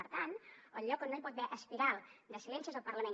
per tant el lloc on no hi pot haver espiral de silenci és al parlament